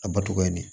A batogoya ni